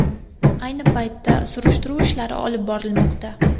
Ayni paytda surishtiruv ishlari olib borilmoqda.